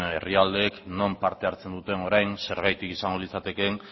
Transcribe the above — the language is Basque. herrialdeek non parte hartzen dute orain zergatik izango litzatekeen